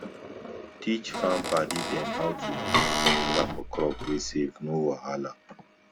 teach farm padi dem how to use chemical for crop wey safe no wahala